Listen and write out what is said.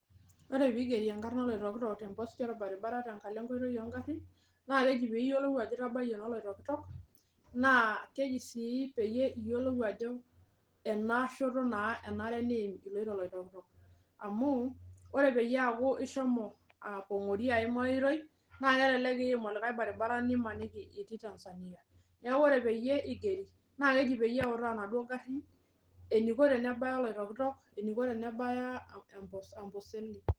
Ore piigeri enkarna oloitokitok temposti orbaribara tenkalo enkoitoi oo ng'arin naa keji piiyiolou ajo itabayie naa oloitokitok naa keji sii peyie iyiolou ajo ena shoto naa enare niim iloito oloitokitok. Amu ore peyie aaku ishomo aapong'ori aim ai oitoi naake elelek iim olikai baribara nimaniki iti Tanzania. Neeku ore peyie igeri naake eji peyie eutaa inaduo garin eniko tenebaya oloitokitok, eniko tenabaya Amboseli.